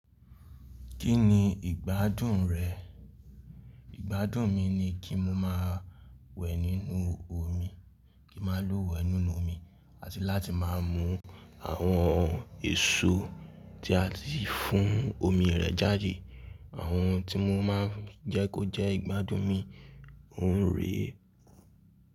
Kí ni ìgbádùn rẹ̀? Ìgbádùn mi ni kí mo máa wẹ̀ nínú omi, kí ma luwẹ̀ nínú omi, àti láti máa mú àwọn èso tí a tì fún omi rẹ̀ jáde. Àwọn ohun tí mo máa ń jẹ́ kó jẹ́ ìgbádùn mi. Òun rè e.